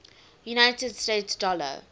united states dollar